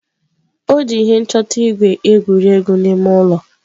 O ji ihe nchọta ígwè egwuri egwu n'ime ụlọ.